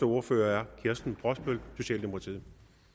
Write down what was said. ordfører er kirsten brosbøl socialdemokratiet